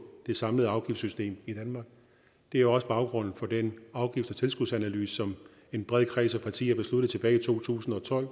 det samlede afgiftssystem i danmark det er også baggrunden for den afgifts og tilskudsanalyse som en bred kreds af partier tilbage i to tusind og tolv